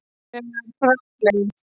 þegar frá leið.